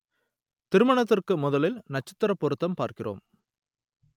திருமணத்திற்கு முதலில் நட்சத்திரப் பொருத்தம் பார்க்கிறோம்